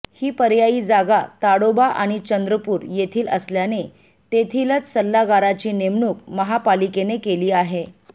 ही पर्यायी जागा ताडोबा आणि चंद्रपूर येथील असल्याने तेथीलच सल्लागाराची नेमणूक महापालिकेने केली आहे